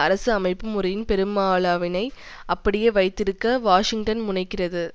அரசு அமைப்பு முறையின் பெருமளவினை அப்படியே வைத்திருக்க வாஷிங்டன் முனைகிறது